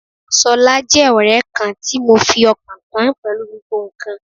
Ṣọlá jẹ́ ọ̀rẹ́ kan tí mo fi ọkàn tán pẹ̀lú gbogbo ǹkan.